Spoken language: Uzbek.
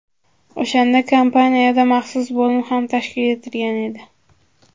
O‘shanda kompaniyada maxsus bo‘lim ham tashkil etilgan edi.